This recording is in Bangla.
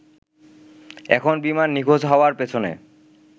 এখন বিমান নিখোঁজ হওয়ার পেছনে